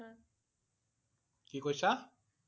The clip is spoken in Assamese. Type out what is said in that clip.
কি কৈছা?